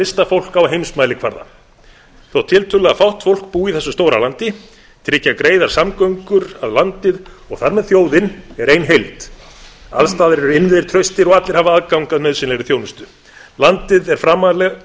listafólk á heimsmælikvarða þótt tiltölulega fátt fólk búi í þessu stóra landi tryggja greiðar samgöngur að landið og þar með þjóðin er ein heild alls staðar eru innviðir traustir og allir hafa aðgang að nauðsynlegri þjónustu landið er framarlega